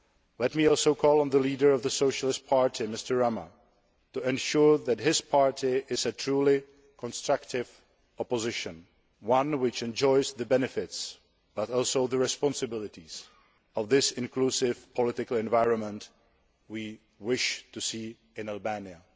Let me also call on the leader of the Socialist Party, Mr Rama, to ensure that his party is a truly constructive opposition one which enjoys the benefits but also the responsibilities of this inclusive political environment we wish to see in Albania.